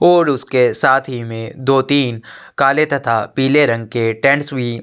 और उसके साथ ही में दो तीन काले तथा पिले रंग के टेन्स भी --